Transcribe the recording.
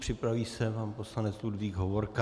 Připraví se pan poslanec Ludvík Hovorka.